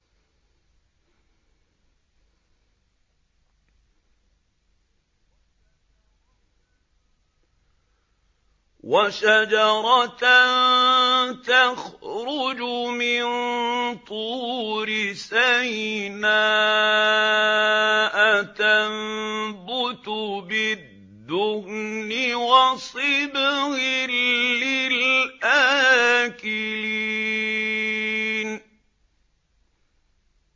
وَشَجَرَةً تَخْرُجُ مِن طُورِ سَيْنَاءَ تَنبُتُ بِالدُّهْنِ وَصِبْغٍ لِّلْآكِلِينَ